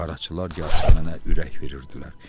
Qaraçılar Yasəmənə ürək verirdilər.